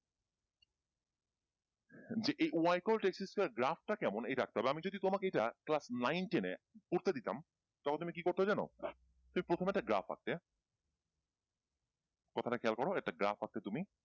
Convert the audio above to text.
যে এই Y cot X square graph টা কেমন এইটা আঁকতে হবে আমি যদি তোমাকে এইটা ক্লাস নাইন টেনে করতে দিতাম তখন তুমি কি করতে জানো প্রথমে একটা গ্রাফ আঁকতে কথাটা খেয়াল করো একটা গ্রাফ আঁকতে তুমি